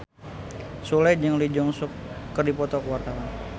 Sule jeung Lee Jeong Suk keur dipoto ku wartawan